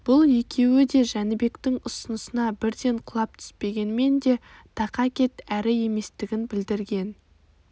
бұл екеуі де жәнібектің ұсынысына бірден құлап түспегенмен де тақа кет әріеместігін білдірген